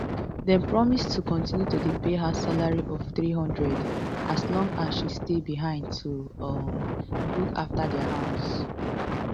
dem promise to continue to dey pay her salary of three hundred as long as she stay behind to um look afta dia house